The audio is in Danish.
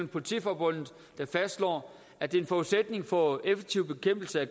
politiforbundet der fastslår at det er en forudsætning for effektiv bekæmpelse af